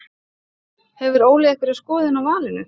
Hefur Óli einhverja skoðun á valinu?